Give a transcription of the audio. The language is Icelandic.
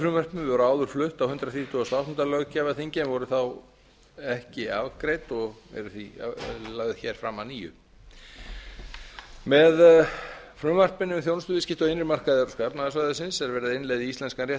frumvörpin voru áður flutt á hundrað þrítugasta og áttunda löggjafarþingi en voru þá ekki afgreidd og eru því lögð hér fram að nýju með frumvarpinu þjónustuviðskipti á innri markaði evrópska efnahagssvæðisins er verið að innleiða í íslenskan rétt